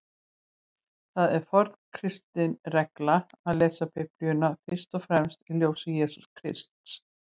Það er forn kristin regla að lesa Biblíuna fyrst og fremst í ljósi Jesú Krists.